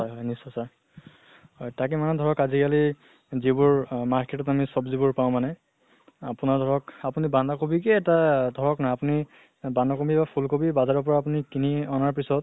হয় হয় নিচ্ছয় sir হয় তাকে মানে ধৰক আজি কালি যিবোৰ অহ market ত আমি চব্জি বোৰ পাওঁ মানে আপোনাৰ ধৰক আপুনি বান্ধা কবিকে এটা ধৰক না আপুনি বান্ধা বা ফুল কবি বাজাৰৰ পৰা আপুনি কিনি অনাৰ পিছত